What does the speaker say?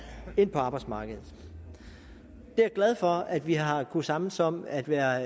ind på arbejdsmarkedet jeg er glad for at vi har kunnet samles om at være